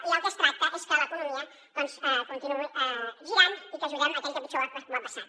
i el que es tracta és que l’economia doncs continuï girant i que ajudem aquell que pitjor ho ha passat